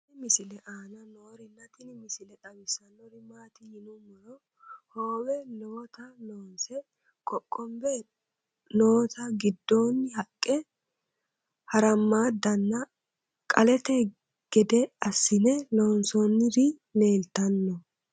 tenne misile aana noorina tini misile xawissannori maati yinummoro hoowe lowotta loonse qoqonbe nootte giddonni haqqe haramaaddanna qalette gede asiinne loonsoonniri leelittanno